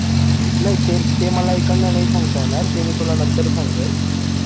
नाही ते मला एकंदर नाही सांगता येणार ते मी तुला नंतर सांगेल